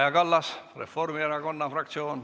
Kaja Kallas, Reformierakonna fraktsioon.